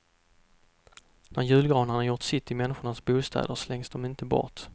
När julgranarna gjort sitt i människornas bostäder slängs de inte bort.